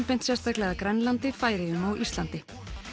beint sérstaklega að Grænlandi Færeyjum og Íslandi